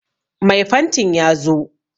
Mai fantin ya zo